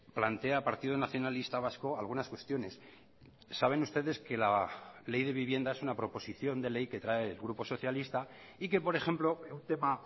plantea partido nacionalista vasco algunas cuestiones saben ustedes que la ley de vivienda es una proposición de ley que trae el grupo socialista y que por ejemplo un tema